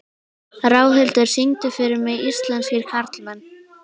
Ráðhildur, syngdu fyrir mig „Íslenskir karlmenn“.